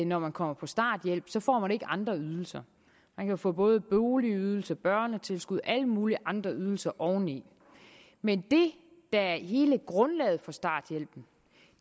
når man kommer på starthjælp får man ikke andre ydelser man kan få både boligydelse børnetilskud og alle mulige andre ydelser oveni men det der er hele grundlaget for starthjælpen